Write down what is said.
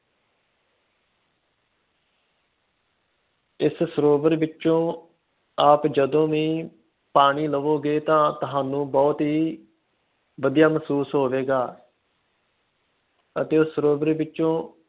ਇਸ ਸਰੋਵਰ ਵਿਚੋਂ ਆ ਜਦੋ ਹੀ ਪਾਣੀ ਲਾਓਗੇ ਤਾ ਤੁਹਾਨੂੰ ਬਹੁਤ ਹੀ ਵਧੀਆ ਮਹਿਸੂਸ ਹੋਵੇਗਾ ਅਤੇ ਉਸ ਸਰੋਵਰ ਵਿਚੋਂ